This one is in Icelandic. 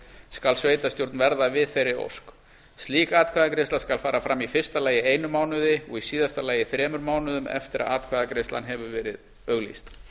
skal sveitarstjórn verða við þeirri ósk slík atkvæðagreiðsla skal fara fram í fyrsta lagi einum mánuði og í síðasta lagi þremur mánuðum eftir að atkvæðagreiðslan hefur verið auglýst